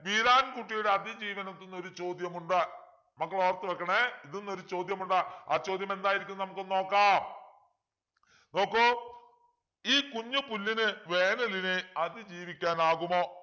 വീരാൻ കുട്ടിയുടെ അതിജീവനത്തിന്ന് ചോദ്യമുണ്ട് മക്കൾ ഓർത്തു വെക്കണേ ഇതിന്നു ഒരു ചോദ്യമുണ്ട് ആ ചോദ്യമെന്തായിരിക്കും നമുക്കൊന്ന് നോക്കാം നോക്കു ഈ കുഞ്ഞു പുല്ലിന് വേനലിനെ അതിജീവിക്കാൻ ആകുമോ